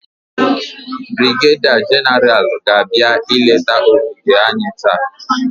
Brigeda Genaral ga-abịa ileta ogige anyị taa.